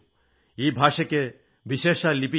ഈ ഭാഷയ്ക്ക് വിശേഷാൽ ലിപിയില്ല